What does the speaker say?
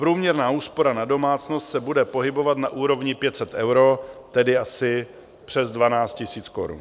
Průměrná úspora na domácnost se bude pohybovat na úrovni 500 eur, tedy asi přes 12 tisíc korun.